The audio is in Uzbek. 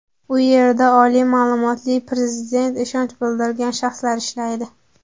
U yerda oliy ma’lumotli, Prezident ishonch bildirgan shaxslar ishlaydi.